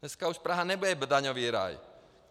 Dneska už Praha nebude daňový ráj.